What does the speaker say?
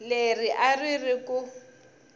leri a ri ri ku